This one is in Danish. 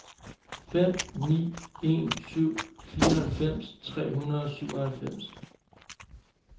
fem ni en syv fireoghalvfems tre hundrede og syvoghalvfems